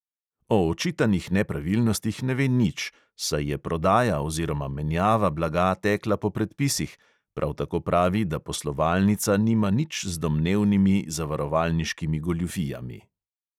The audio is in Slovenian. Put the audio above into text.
O očitanih nepravilnostih ne ve nič, saj je prodaja oziroma menjava blaga tekla po predpisih, prav tako pravi, da poslovalnica nima nič z domnevnimi zavarovalniškimi goljufijami.